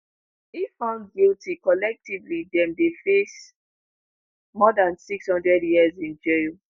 if found guilty collectively dem dey face more dan 600 years in jail.